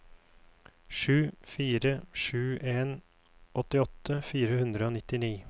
sju fire sju en åttiåtte fire hundre og nittini